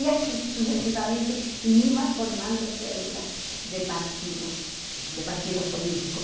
E assim, sucessivamente, e iam formando células de partidos, de partidos políticos.